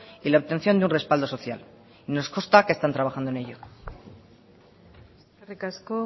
y la obtención de un respaldo social y nos consta que están trabajando en ello eskerrik asko